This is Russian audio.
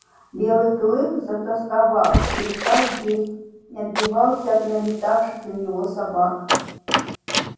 белый клык затосковал перестал есть не отбивался от налетавших на него собак